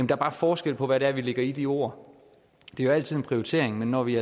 der bare forskel på hvad det er vi lægger i de ord det er altid en prioritering men når vi